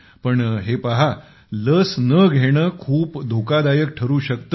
पण हे पहा लस न घेणे खूप धोकादायक ठरू शकते